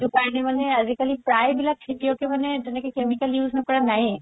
সেইটো কাৰণে মানে আজি কালি প্ৰায় বিলাক খেতিয়কে মানে তেনেকে chemical use নকৰা নাইয়ে